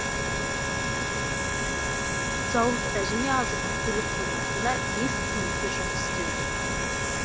зауытта және азық түлік қоймасында бес қызметкер жұмыс істеуде